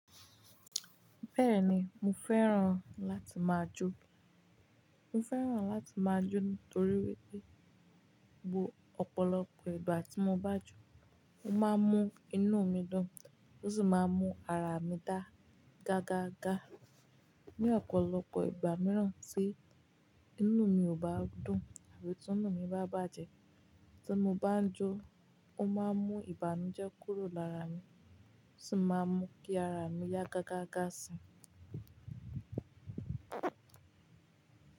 Bẹ́ẹ̀ni, mo fẹ́ràn láti máa jó. Mo fẹ́ràn láti máa jó nítorí wípé bo ọ̀pọ̀lọpọ̀ ìgbà tí mo bá jó, ó máa ń mú inú mi dùn, ó sì máa ń mú ara mi dá gágá gá. Ni ọ̀pọ̀lọpọ̀ ìgbà mìíràn tí inú mi ò bá dùn àbí tí inú mi bá bàjẹ́, tí mo bá jó, ó máa ń mú ìbànújẹ́ kúrò lára mi, ó sì máa ń mú kí ara mi yá gágá gá si.